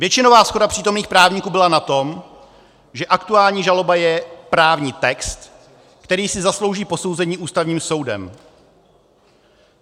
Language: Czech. Většinová shoda přítomných právníků byla na tom, že aktuální žaloba je právní text, který si zaslouží posouzení Ústavním soudem.